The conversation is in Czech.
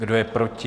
Kdo je proti?